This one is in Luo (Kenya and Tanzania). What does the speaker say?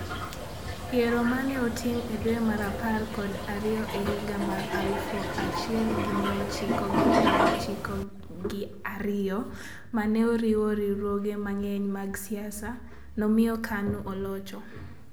Yiero ma ne otim e dwe mar apar kod ariyo e higa mar 1992 ma ne oriwo riwruoge mang'eny mag siasa, nomiyo KANU olocho.